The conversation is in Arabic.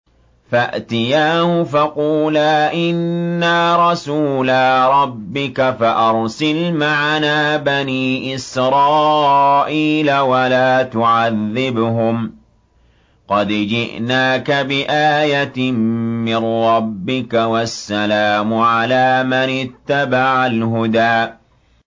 فَأْتِيَاهُ فَقُولَا إِنَّا رَسُولَا رَبِّكَ فَأَرْسِلْ مَعَنَا بَنِي إِسْرَائِيلَ وَلَا تُعَذِّبْهُمْ ۖ قَدْ جِئْنَاكَ بِآيَةٍ مِّن رَّبِّكَ ۖ وَالسَّلَامُ عَلَىٰ مَنِ اتَّبَعَ الْهُدَىٰ